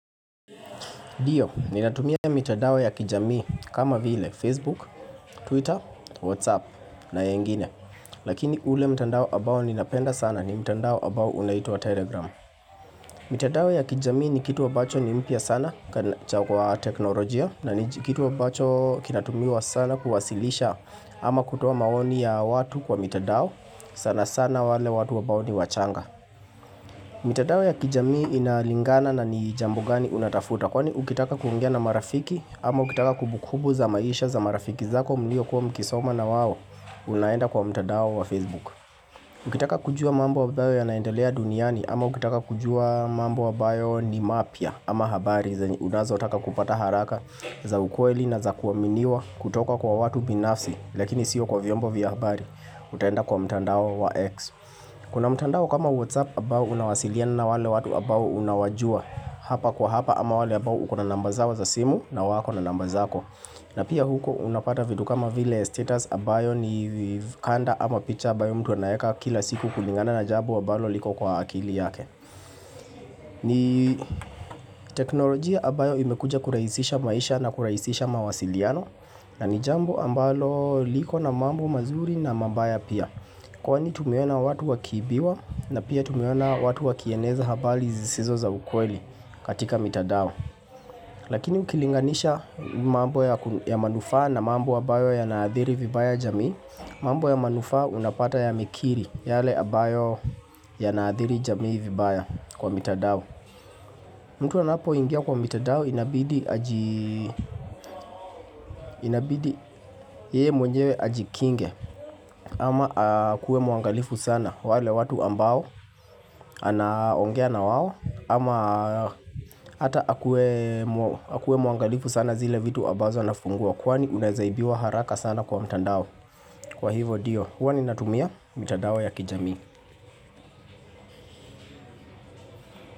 Ndio, ninatumia mitandao ya kijamii kama vile Facebook, Twitter, Whatsapp na yengine. Lakini ule mtandao ambao ninapenda sana ni mitandao ambao unaitwa Telegram. Mitandao ya kijamii ni kitu ambacho ni mpya sana kwa teknolojia. Na ni kitu ambacho kinatumiwa sana kuwasilisha ama kutoa maoni ya watu kwa mitandao. Sana sana wale watu ambao ni wachanga. Mitandao ya kijamii inalingana na ni jambo gani unatafuta kwani ukitaka kuongea na marafiki ama ukitaka kumbu kumbu za maisha za marafiki zako mliokuwa mkisoma nawao unaenda kwa mtandao wa Facebook. Ukitaka kujua mambo ambayo yanaendelea duniani ama ukitaka kujua mambo ambayo ni mapya, ama habari unazo taka kupata haraka za ukweli na za kuaminiwa kutoka kwa watu binafsi lakini sio kwa viombo vya habari utaenda kwa mtandao wa X. Kuna mtandao kama whatsapp ambao unawasiliana na wale watu ambao unawajua hapa kwa hapa ama wale ambao uko na namba zao za simu na wako na namba zako. Na pia huko unapata vitu kama vile status ambayo ni vikanda ama picha ambayo mtu anaeka kila siku kulingana na jambi ambalo liko kwa akili yake. Ni teknolojia ambayo imekuja kurahisisha maisha na kurahisisha mawasiliano na ni jambo ambalo liko na mambo mazuri na mabaya pia. Kwani tumeona watu wakiibiwa na pia tumeona watu wakieneza habari zisizo za ukweli katika mitandao. Lakini ukilinganisha mambo ya manufaa na mambo ambayo yanaathiri vibaya jamii mambo ya manufaa unapata yamekiri yale ambayo yanaathiri jamii vibaya kwa mitandao. Mtu anapoingia kwa mitandao inabidi yeye mwenyewe ajikinge ama akuwe mwangalifu sana wale watu ambao anaongea na wao, ama hata akuwe mwangalifu sana zile vitu ambazo anafungua. Kwani unaweza ibiwa haraka sana kwa mtandao. Kwa hivo ndio, huwa ni natumia mitandao ya kijamii.